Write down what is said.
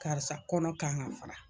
Karisa kɔnɔ kan ka fara.